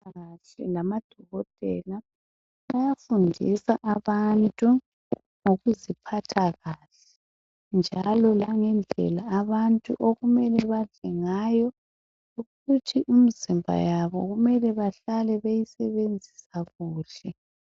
abezempilakahle labodokotele bayafundisa abantu ngokuziphatha kahle njalo langendlela abantu abamele badle ngayoukuthi imizimba yabo behlale beyisebenzisa kuhle